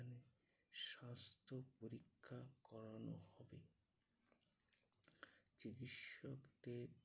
স্বাস্থ পরীক্ষা করানোর হবে চিকিৎসকদের